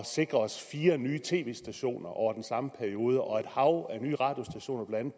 sikre os fire nye tv stationer over den samme periode og et hav af nye radiostationer blandt